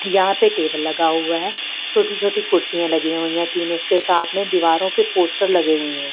यहाँ पे टेबल लगा हुआ है छोटी-छोटी कुर्सियाँ लगी हुई हैं तीन उसके साथ में दीवारों पे पोस्टर लगे हुए हैं।